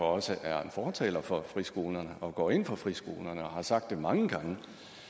også er en fortaler for friskolerne og går ind for friskolerne og derfor har sagt det mange gange